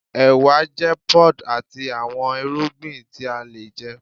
ewa jẹ pods ati awọn irugbin ti a le jẹ